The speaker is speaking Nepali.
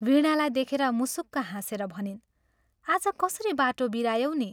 वीणालाई देखेर मुसुक्क हाँसेर भनिन् " आज कसरी बाटो बिरायौ नि?